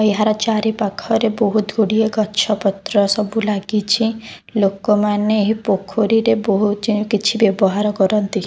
ଏହାର ଚାରି ପାଖରେ ବହୁତ୍ ଗୁଡ଼ିଏ ଗଛ-ପତ୍ର ସବୁ ଲାଗିଛି ଲୋକମାନେ ଏହି ପୋଖରୀରେ ବହୁତ୍ ଜି କିଛି ବ୍ୟବହାର କରନ୍ତି।